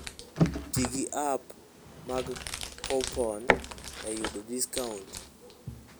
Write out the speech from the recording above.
Ti gi app mag coupon e yudo discount.